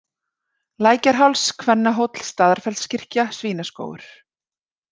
Lækjarháls, Kvennahóll, Staðarfellskirkja, Svínaskógur